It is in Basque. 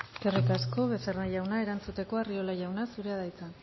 eskerrik asko becerra jauna erantzuteko arriola jauna zurea da hitza